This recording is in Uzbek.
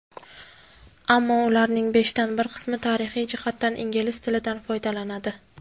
ammo ularning beshdan bir qismi tarixiy jihatdan ingliz tilidan foydalanadi.